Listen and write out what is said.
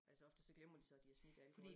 Altså ofte så glemmer de så de har smidt alkoholen